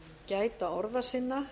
gæta orða sinna